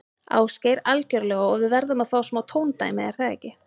Ásgeir: Algjörlega og við verðum að fá smá tóndæmi, er það ekki?